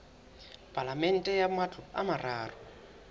palamente ya matlo a mararo